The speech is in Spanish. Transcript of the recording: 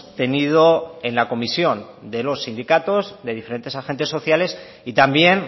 tenido en la comisión de los sindicatos de diferentes agentes sociales y también